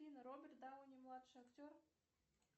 афина роберт дауни младший актер